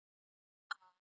Ha, ha!